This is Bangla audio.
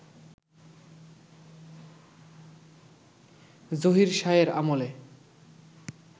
জহির শাহের আমলে